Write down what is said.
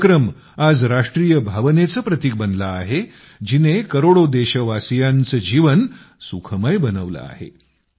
हा उपक्रम आज राष्ट्रीय भावनेचं प्रतीक बनला आहे जिने करोडो देशवासियांचं जीवन सुखमय बनवलं आहे